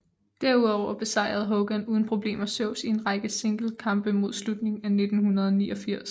Derudover besejrede Hogan uden problemer Zeus i en række singlekampe mod slutningen af 1989